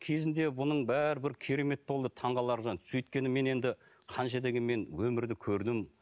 кезінде бұның бәрі бір керемет болды таңғаларлық сөйткенімен енді қанша дегенмен өмірді көрдім